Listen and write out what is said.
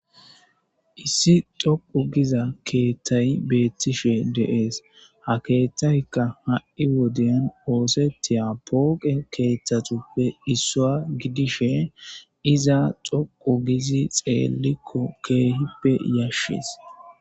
Issi dhoqqu gida keeththay beetishe de7ees. Ha keeththaykka ha7i wodiyan oosetethiya pooqe keeththatuppe issuwa gidishe iza dhuqu gidi xeelikko keehippe yashees.